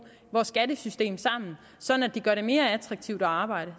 vores skattesystem sammen sådan at det gør det mere attraktivt at arbejde